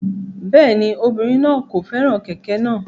Rárá, obirin naa kò fẹ́ràn kẹ̀kẹ́ náà.